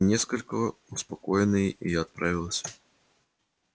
несколько успокоенный и отправился